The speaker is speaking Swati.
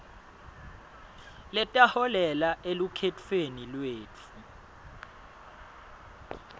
letaholela elukhetfweni lwetfu